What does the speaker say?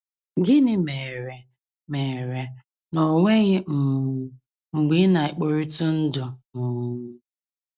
Gịnị mere mere na o nweghị um mgbe ị na - ekporitụ ndụ? um ”